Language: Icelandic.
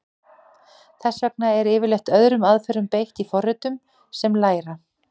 Þess vegna er yfirleitt öðrum aðferðum beitt í forritum sem læra.